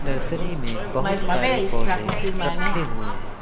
Nursery में बहुत सारे पौधे रखे हुए हैं।